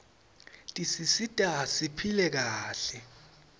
tisisita siphile kahle